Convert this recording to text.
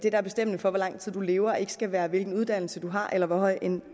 er bestemmende for hvor lang tid man lever ikke skal være hvilken uddannelse man har eller hvor høj en